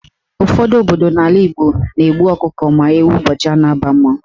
Ụfọdụ obodo n'ala Igbo na-egbu ọkụkọ ma ewu ụbọchị a ga-aba mmanwụ.